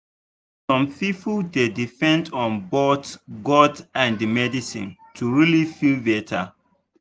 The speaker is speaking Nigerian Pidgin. some people dey depend on both god and medicine to really feel better.